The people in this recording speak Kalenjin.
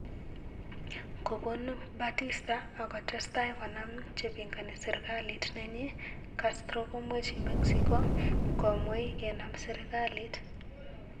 Kobun Batista ak kotestai konam chepingani sirkalit nenyi, Castro komweji Mexico gomwei kenam sirkalit.